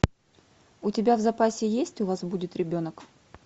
у тебя в запасе есть у вас будет ребенок